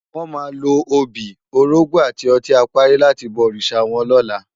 Wò má ló óbi, órógbò áti òtin àpári làti bò órisá wòn lòlá